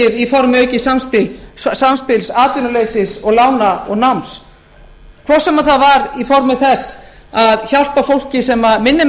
í formi aukins samspils atvinnuleysis lána og náms hvort sem það var í formi þess að hjálpa fólki sem minni